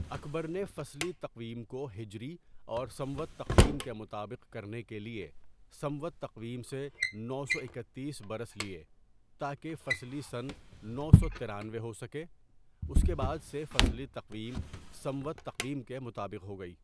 اکبر نے فصلی تقویم کو ہجری اور سنوت تقویم کے مطابق کرنے کے لیے سنوت تقویم سے نو سو ایکاتیس برس لیے تاکہ فصلی سنہ نو سو ترانوے ہو سکے اس کے بعد سے فصلی تقویم سنوت تقویم کے مطابق ہو گئی.